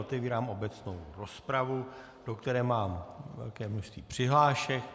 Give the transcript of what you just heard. Otevírám obecnou rozpravu, do které mám velké množství přihlášek.